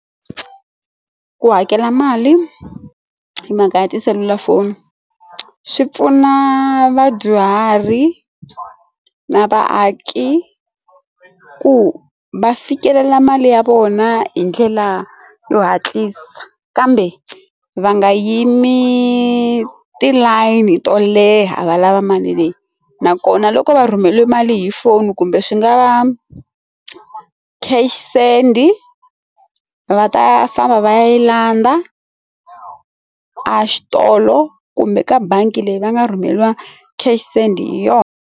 Ku hakela mali hi mhaka ya tiselulafoni swi pfuna vadyuhari na vaaki ku va fikelela mali ya vona hi ndlela yo hatlisa kambe va nga yimi tilayini to leha valava mali leyi nakona loko va rhumeliwe mali hi phone kumbe swi nga va cash send va ta famba va yi landza a xitolo kumbe ka bangi leyi va nga rhumeriwa cash send hi yona.